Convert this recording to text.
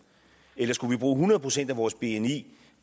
eller skulle vi bruge hundrede procent af vores bni